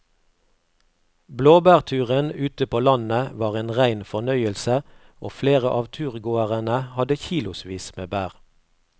Blåbærturen ute på landet var en rein fornøyelse og flere av turgåerene hadde kilosvis med bær.